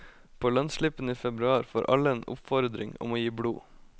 På lønnsslippen i februar får alle en oppfordring om å gi blod.